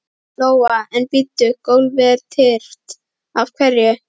Lóa: En bíddu, gólfið er tyrft, af hverju?